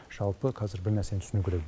жалпы қазір бір нәрсені түсіну керек